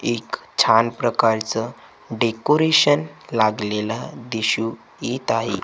एक छान प्रकारचं डेकोरेशन लागलेलं दिसू येत आहे.